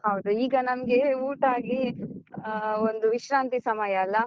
ಹೌದು, ಈಗ ನಮ್ಗೆ ಊಟ ಆಗಿ ಆ ಒಂದು ವಿಶ್ರಾಂತಿ ಸಮಯ ಅಲ್ಲ.